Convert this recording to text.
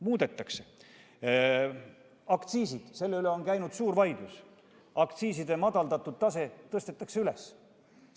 Muudetakse aktsiise, selle üle on käinud suur vaidlus, aktsiiside madaldatud tase tõstetakse üles.